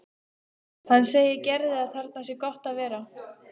Hann segir Gerði að þarna sé gott að vera.